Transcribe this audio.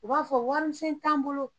U b'a fɔ wari misɛn t'an bolo